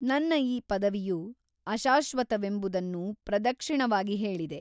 ನನ್ನ ಈ ಪದವಿಯು ಅಶಾಶ್ವತವೆಂಬುದನ್ನು ಪ್ರದಕ್ಷಿಣವಾಗಿ ಹೇಳಿದೆ.